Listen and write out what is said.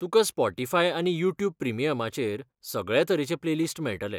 तुकां स्पॉटीफाय आनी यूट्यूब प्रिमियमाचेर सगळ्या तरेचे प्लेलिस्ट मेळटले.